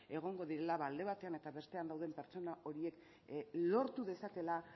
egongo direla alde batean eta bestean dauden pertsona horiek lortu dezakeela